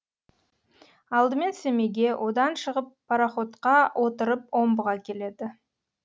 алдымен семейге одан шығып пароходқа отырып омбыға келеді